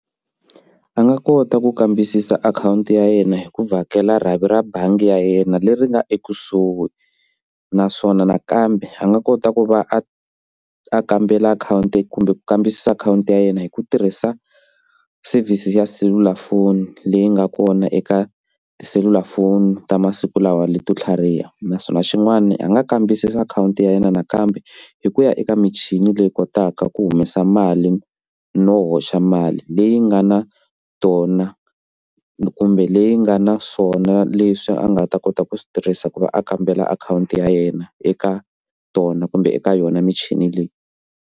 A nga kota ku kambisisa akhawunti ya yena hi ku vhakela rhavi ra bangi ya yena leri nga ekusuhi naswona nakambe a nga kota ku va a a kambela akhawunti kumbe ku kambisisa akhawunti ya yena hi ku tirhisa service ya selulafoni leyi nga kona eka tiselulafoni ta masiku lawa leto tlhariha naswona xin'wana a nga kambisisa akhawunti ya yena nakambe hi ku ya eka michini leyi kotaka ku humesa mali no hoxa mali leyi nga na tona kumbe leyi nga na swona leswi a nga ta kota ku swi tirhisa ku va a kambela akhawunti ya yena eka tona kumbe eka yona michini leyi.